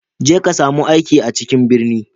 Je ka sami aiki a cikin birni